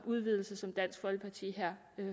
udvidelse som dansk folkeparti